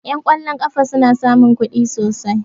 Ƴan ƙwallon ƙafa suna samun kuɗi sosai